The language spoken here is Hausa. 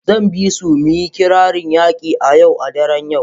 Zan bisu mu yi kirarin yaƙi a Yau daren yau.